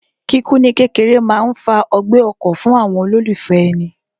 Kíkú ní kékeré máa ń fa ọgbẹ́ ọkàn fún àwọn olólùfẹ́ èni